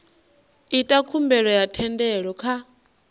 ita khumbelo ya thendelo kha